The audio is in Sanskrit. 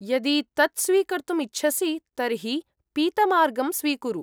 यदि तत् स्वीकर्तुम् इच्छसि, तर्हि पीतमार्गं स्वीकुरु।